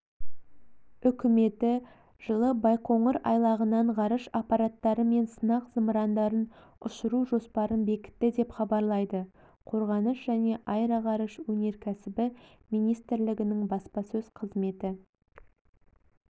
үкіметі жылы байқоңыр айлағынан ғарыш аппараттары мен сынақ зымырандарын ұшыру жоспарын бекітті деп хабарлайды қорғаныс және аэроғарыш өнеркәсібі министрлігінің баспасөз қызметі